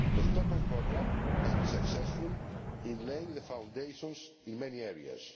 The Stockholm Programme has been successful in laying the foundations in many areas.